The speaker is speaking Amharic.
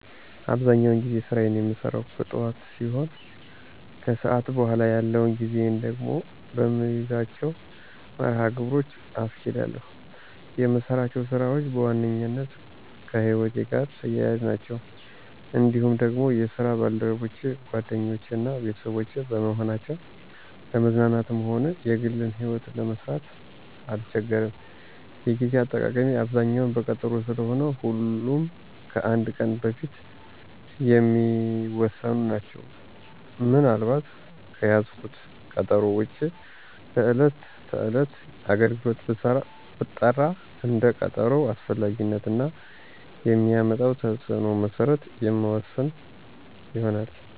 አብዛኛውን ጊዜ ስራየን የምሰራው ከጥዋት ሲሆን ከሰዓት በኋላ ያለውን ጊዜየን ደግሞ በምይዛቸው መርሀ ግብሮች አስኬዳለሁ። የምሰራቸው ስራዎች በዋነኛነት ከህይወቴ ጋር ተያያዥ ናቸው። እንዲሁም ደግሞ የስራ ባልደረቦቼ ጓደኞቼ እና ቤተሰቦቼ በመሆናቸው ለመዝናናትም ሆነ የግሌን ይህወት ለመምራት አልቸገርም። የጌዜ አጠቃቀሜ አብዛኛው በቀጠሮ ስለሆነ ሁሉም ከአንድ ቀን በፊት የሚወሰኑ ናቸው። ምን አልባት ከያዝኩት ቀጠሮ ውጭ በዕለት ለተለያዩ አገልግሎት ብጠራ እንደ ቀጠሮው አስፈላጊነት እና የሚያመጣው ተፅዕኖ መሰረት የምወስን ይሆናል።